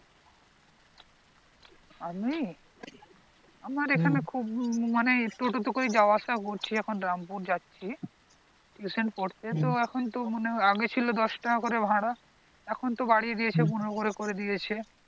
আমি আমার এখানে খুব মানে toto তে করে যাওয়া আসা করছি এখন রামপুর যাচ্ছি tuition পড়তে তো আগে তো মনে হয় দশ টাকা করে ছিল ভাড়া এখন তো বাড়িয়ে দিয়েছে পনেরো করে করে দিয়েছে